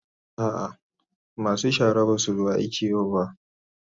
A'a masu shara ba su zo aiki yau ba.